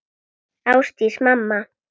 Ásdís mamma.